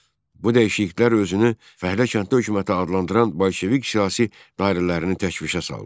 Bu dəyişikliklər özünü fəhlə kəndli hökuməti adlandıran bolşevik siyasi dairələrinin təşvişə saldı.